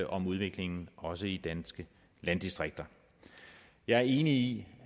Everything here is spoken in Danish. om udviklingen også i danske landdistrikter jeg er enig i